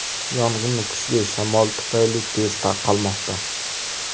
Yong‘in kuchli shamol tufayli tez tarqalmoqda.